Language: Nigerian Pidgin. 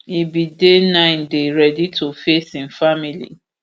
im bin dey nine dey ready to face im family